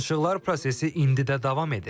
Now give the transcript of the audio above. Danışıqlar prosesi indi də davam edir.